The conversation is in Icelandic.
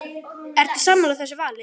Ertu sammála þessu vali?